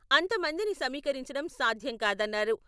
అంతమందిని సమీకరించడం సాధ్యం కాదన్నారు.